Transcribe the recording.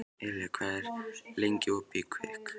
Elía, hvað er lengi opið í Kvikk?